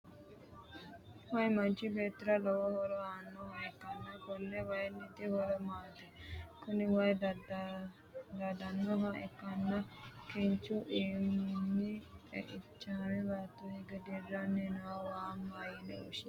Wayi manchi beetira lowo horo aanoha ikaanni konni wayinniti horosi maati? Kunni wayi daadanoha ikanna kinnichu iiminni xeichame baattora hige diranni noo waa mayine woshinnanni?